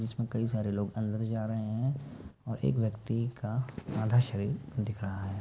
जिसमे कई सारे लोग अंदर जा रहे है और एक व्यक्ति का आधा शारीर दिख रहा है।